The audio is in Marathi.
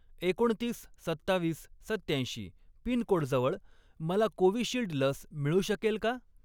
एकोणतीस, सत्तावीस, सत्त्याऐंशी पिनकोडजवळ मला कोविशिल्ड लस मिळू शकेल का?